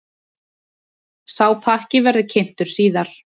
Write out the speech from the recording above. Sá pakki verði kynntur síðar.